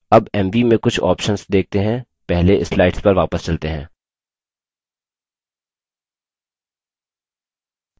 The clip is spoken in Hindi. अब mv में कुछ options देखते हैं पहले slides पर वापस चलते हैं